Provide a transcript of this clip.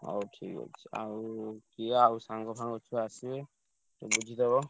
ହଉ ଠିକ୍ ଅଛି ଆଉ ଆଉ ସାଙ୍ଗ ସାଙ୍ଗ ଛୁଆ ଆସିବେ ବୁଝିଦେବ।